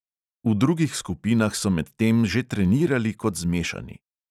V drugih skupinah so med tem že trenirali kot zmešani.